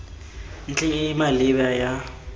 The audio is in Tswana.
ntlheng e e maleba ya